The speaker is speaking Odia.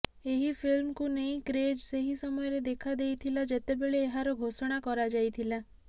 ଏହି ଫିଲ୍ମରେକୁ ନେଇ କ୍ରେଜ ସେହି ସମୟରେ ଦେଖା ଦେଇଥିଲା ଯେତେବେଳେ ଏହାର ଘୋଷଣା କରାଯାଇଥିଲା